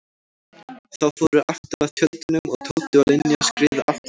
Þau fóru aftur að tjöldunum og Tóti og Linja skriðu aftur á sinn stað.